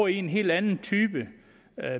i en helt anden type